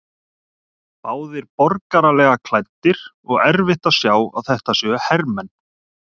Báðir borgaralega klæddir og erfitt að sjá að þetta séu hermenn.